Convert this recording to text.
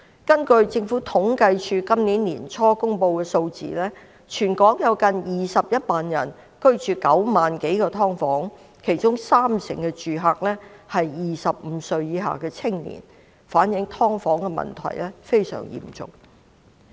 根據政府統計處今年年初公布的數字，全港有近21萬人居於9萬多個"劏房"單位，其中三成住客是25歲以下的青年，反映"劏房"問題非常嚴重。